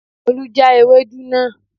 Olú já Ewedu náà